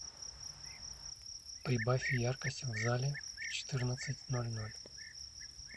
прибавь яркость в зале в четырнадцать ноль ноль